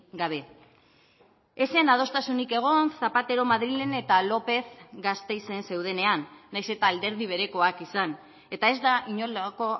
gabe ez zen adostasunik egon zapatero madrilen eta lópez gasteizen zeudenean nahiz eta alderdi berekoak izan eta ez da inolako